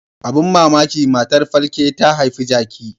Abin mamaki matar falke ta haifi jaki.